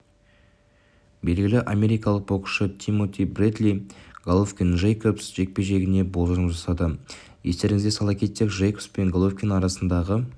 белгілі америкалық боксшы тимоти бредли головкин-джейкобс жекпе-жегіне болжам жасады естеріңізге сала кетсек джейкобс пен головкин арасындағы